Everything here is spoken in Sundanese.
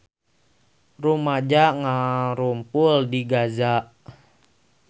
Rumaja ngarumpul di Gaza